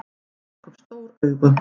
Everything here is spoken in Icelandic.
Hann rak upp stór augu.